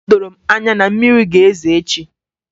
O doro m anya na mmiri ga-ezo echi